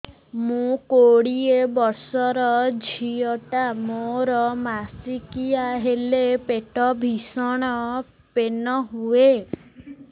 ମୁ କୋଡ଼ିଏ ବର୍ଷର ଝିଅ ଟା ମୋର ମାସିକିଆ ହେଲେ ପେଟ ଭୀଷଣ ପେନ ହୁଏ